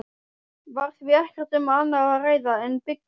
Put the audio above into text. Var því ekkert um annað að ræða en byggja.